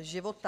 života.